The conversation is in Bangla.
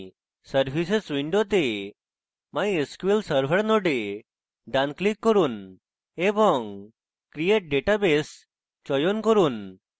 services window mysql server node ডান click করুন এবং create database চয়ন করুন